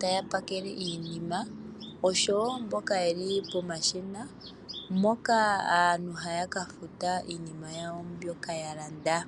taya pakele iinima osho woo mboka yeli pomashina . Mpoka aantu haya ka futa iinima yawo mbyoka ya landa.